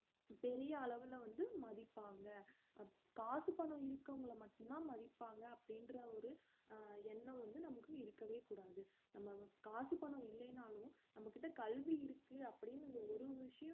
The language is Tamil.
பெரிய அளவுல வந்து மதிப்பாங்க காசு பணம் இருக்கிறவங்கள மட்டும்தான் மதிப்பாங்க அப்படின்ற ஒரு அஹ் எண்ணம் வந்து நமக்கு இருக்கவே கூடாது நம்ம காசு பணம் இல்லைன்னாலும் நம்ம கிட்ட கல்வி இருக்கு அப்படீன்னு அந்த ஒரு விஷயம்